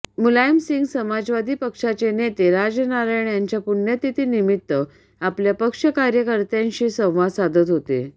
मुलायम सिंह समाजवादी पक्षाचे नेते राजनारायण यांच्या पुण्यतिथी निमित्त आपल्या पक्ष कार्यकर्त्यांशी संवाद साधत होते